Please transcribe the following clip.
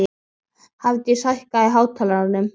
Hrafndís, hækkaðu í hátalaranum.